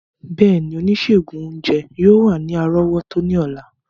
Bẹẹni, onisegun ounjẹ yoo wa ni arọwọto ni ọla.